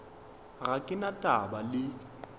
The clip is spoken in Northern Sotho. ga ke na taba le